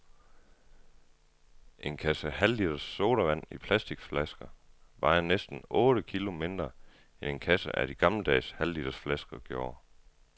En kasse halvliters sodavand i plasticflasker vejer næsten otte kilo mindre end en kasse af de gammeldags halvliters flasker gjorde.